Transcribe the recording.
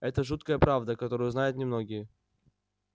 это жуткая правда которую знают немногие